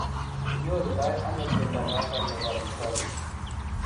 ki nyoru ndo ano mnyondo noton nebo dystonia ?